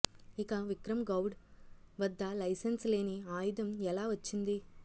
ఇక విక్రం గౌడ్ వద్ద లైసెన్స్ లేని ఆయుధం ఎలా వచ్చింది